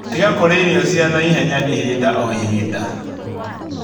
Tiga kũrĩa irio cia naihenya ihinda o ihinda